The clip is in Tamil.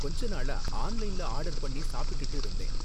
கொஞ்ச நாளா ஆன்லைன்ல ஆர்டர் பண்ணி சாப்பிட்டுட்டு இருந்தேன்